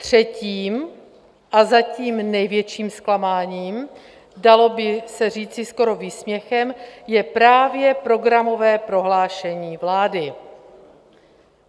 Třetím a zatím největším zklamáním, dalo by se říci skoro výsměchem, je právě programové prohlášení vlády.